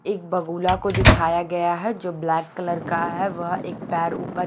एक बगुला को दिखाया गया है जो ब्लैक कलर का है वह एक पैर ऊपर --